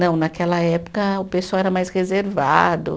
Não, naquela época o pessoal era mais reservado.